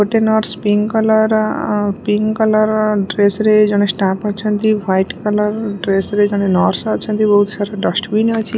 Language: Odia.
ଗୋଟେ ନର୍ସ ପିଙ୍କ କଲର ର ଅ ପିଙ୍କ କଲର ର ଡ୍ରେସ ରେ ଜଣେ ଷ୍ଟାଫ୍ ଅଛନ୍ତି ହ୍ୱାଇଟ୍ କଲର୍ ର ଡ୍ରେସ୍ ରେ ଜଣେ ନର୍ସ ଅଛନ୍ତି ବହୁତ ସାରା ଡଷ୍ଟ ବିନ ଅଛି।